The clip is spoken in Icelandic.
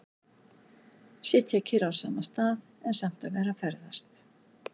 Sitja kyrr á sama stað, en samt að vera að ferðast.